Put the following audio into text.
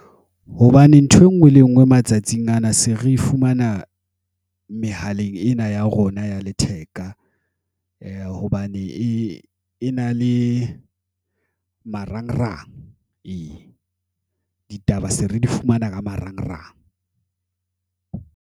Hobane ntho engwe le ngwe matsatsing ana se re fumana mehaleng ena ya rona ya letheka, hobane e na le marangrang , ditaba se re di fumana ka marangrang.